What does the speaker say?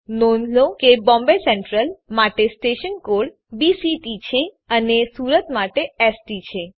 નોંધ લો કે બોમ્બે સેન્ટ્રલ માટે સ્ટેશન કોડ બીસીટી છે અને સુરત માટે એસટી છે